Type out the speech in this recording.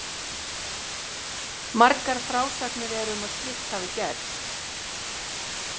Margar frásagnir eru um að slíkt hafi gerst.